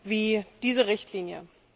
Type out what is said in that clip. wie diese Richtlinie.